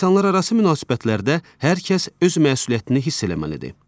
İnsanlararası münasibətlərdə hər kəs öz məsuliyyətini hiss eləməlidir.